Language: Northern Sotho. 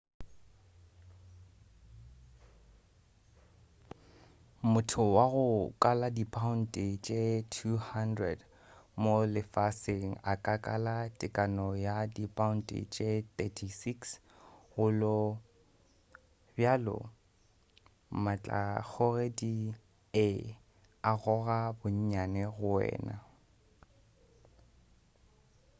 motho wa go kala dipaounte tše 200 90kg mo lefaseng a ka kala tekano ya dipaounte tše 36 16kg go lo. bjale matlakgogedi ee a goga bonnyane go wena